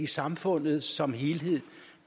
samfundet som helhed